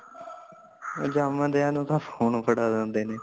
ਜੰਮਦਿਆਂ ਨੂੰ ਤਾ ਫੋਨ ਫੜਾ ਦਿੰਦੇ ਨੇ